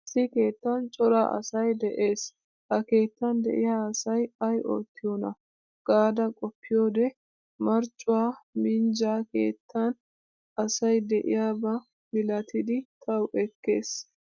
Issi keettan cora asay de'ees. Ha keettan de'iya asay ay oottiyona gaada qoppiyode marccuwaa minjja keettan asay de'iyaba milattidi tawu ekkees.